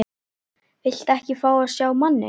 Viltu ekki fá að sjá manninn?